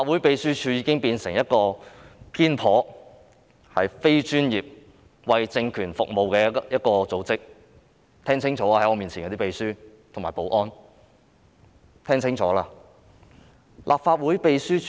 秘書處已經變成一個偏頗、非專業、為政權服務的組織，在我面前的秘書和保安人員要聽清楚。